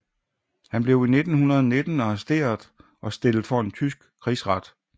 Han blev 1919 arresteret og stillet for en tysk krigsret